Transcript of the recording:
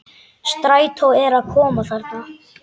Strætó er að koma þarna!